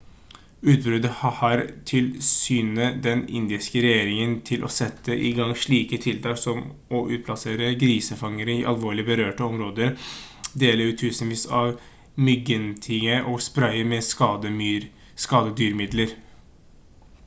utbruddet har tilskyndet den indiske regjeringen til å sette i gang slike tiltak som å utplassere grisefangere i alvorlig berørte områder dele ut tusenvis av myggnettinger og spraye med skadedyrmidler